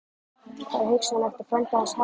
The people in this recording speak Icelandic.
Var hugsanlegt að frændi hans hefði